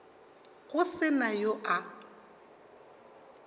go se na yo a